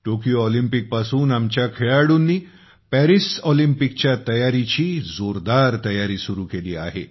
Tokyo ऑलिम्पिकपासून आमच्या खेळाडूंनी पॅरिस ऑलिम्पिकच्या तयारीची जोरदार तयारी सुरु केली आहे